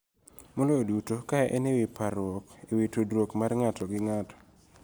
Maloyo duto, ka en e wi parruok e wi tudruok mar ng'ato gi ng'ato